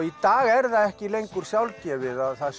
í dag er það ekki lengur sjálfgefið að það